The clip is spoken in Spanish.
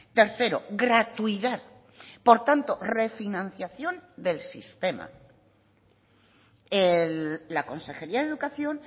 tercero gratuidad por tanto refinanciación del sistema la consejería de educación